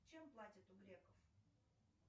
чем платят у греков